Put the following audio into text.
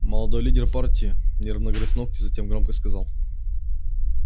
молодой лидер партии нервно грыз ногти затем громко сказал